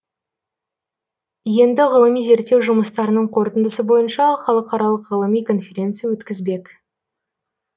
енді ғылыми зерттеу жұмыстарының қорытындысы бойынша халықаралық ғылыми конференция өткізбек